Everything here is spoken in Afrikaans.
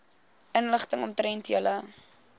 inligting omtrent julle